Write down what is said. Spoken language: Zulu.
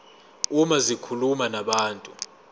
uma zikhuluma nabantu